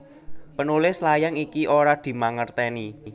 Penulis layang iki ora dimangertèni